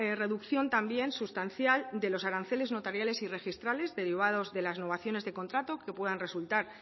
reducción también sustancial de los aranceles notariales y registrales derivados de las novaciones de contrato que pudieran resultar